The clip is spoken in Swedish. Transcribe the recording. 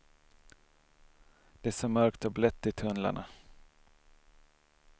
Det är så mörkt och blött i tunnlarna.